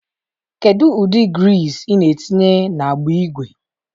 Kedu ụdị griiz ị na-etinye n'agbụ ígwè?